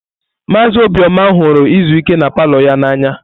Maazị Obioma ihuru izu ike na palọ ya n'anya.